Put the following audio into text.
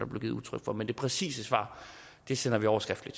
blev givet udtryk for men det præcise svar sender vi over skriftligt